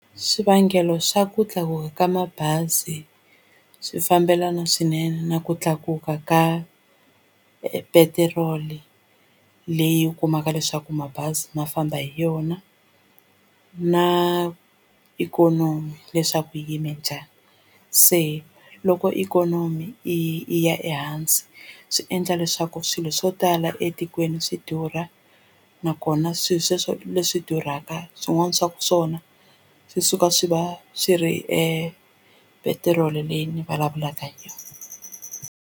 Swivangelo swa ku tlakuka ka mabazi swi fambelana swinene na ku tlakuka ka petiroli leyi kumaka leswaku mabazi ma famba hi yona na ikhonomi leswaku yi yime njhani se loko ikhonomi yi ya ehansi swi endla leswaku swilo swo tala etikweni swi durha nakona swilo sweswo leswi durhaka swin'wana swa swona swi suka swi va swi ri epetiroli leyi ni vulavulaka hi yona.